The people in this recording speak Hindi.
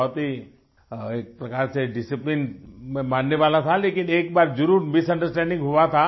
बहुत ही एक प्रकार से डिसिप्लिन मैं मानने वाला था लेकिन एक बार जरुर मिसंडरस्टैंडिंग हुआ था